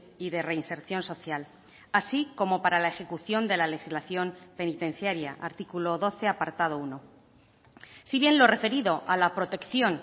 y de reinserción social así como para la ejecución de la legislación penitenciaria artículo doce apartado uno si bien lo referido a la protección